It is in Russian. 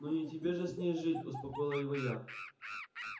ну не тебе же с ней жить успокоила его я